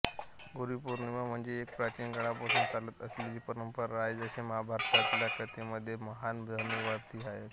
गुरुपौर्णिमा म्हणजे एक प्राचीन काळापासून चालत असलेली परंपरा आहे जसे महाभारतातल्या कथेमध्ये महान धनुर्धारी अर्जुना